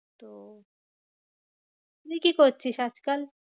তুই কি করছিস আজকাল?